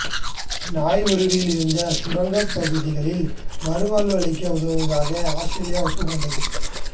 நவூருவில் இருந்த சுரங்கப் பகுதிகளில் மறுவாழ்வளிக்க உதவுவதாக ஆத்திரேலியா ஒப்புக் கொண்டது